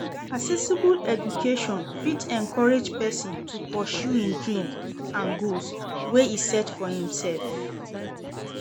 Accessible education fit encourage persin to pursue im dreams and goals wey e set for imself